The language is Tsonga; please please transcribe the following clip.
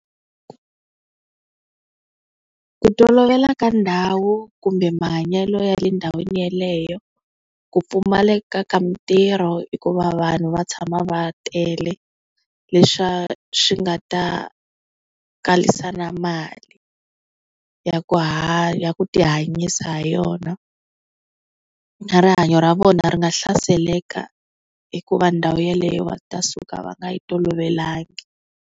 Ku tolovela ka ndhawu kumbe mahanyelo ya le ndhawini yaleyo, ku pfumaleka ka mitirho hikuva vanhu va tshama va tele, leswa swi nga ta kalisa na mali ya ku hanya ku tihanyisa ha yona, na rihanyo ra vona ri nga hlaseleleka hikuva ndhawu ya leyo va ta suka va nga yi tolovelangi.